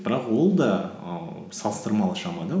бірақ ол да ііі салыстырмалы шамада